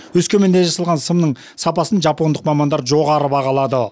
өскеменде жасалған сымның сапасын жапондық мамандар жоғары бағалады